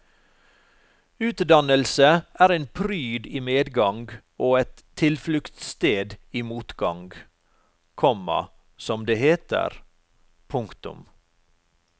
Utdannelse er en pryd i medgang og et tilfluktssted i motgang, komma som det heter. punktum